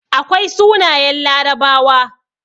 Akwai sunayen larabawa